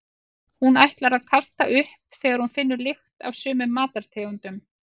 Hún ætlar að kasta upp þegar hún finnur lykt af sumum matartegundum.